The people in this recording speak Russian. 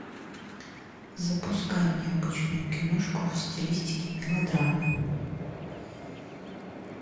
запускай необычную киношку в стилистике мелодрамы